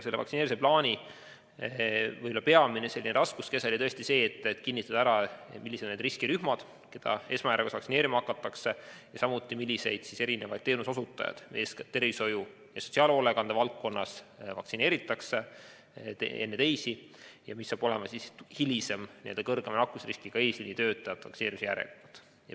Vaktsineerimisplaani peamine raskuskese oli tõesti see, et määrata kindlaks, millised on need riskirühmad, keda esmajärjekorras vaktsineerima hakatakse, ning samuti see, millised teenuseosutajad, eeskätt tervishoiu- ja sotsiaalhoolekande valdkonnas, vaktsineeritakse enne teisi ja milline saab olema hilisem suurema nakkusriskiga eesliinitöötajate vaktsineerimise järjekord.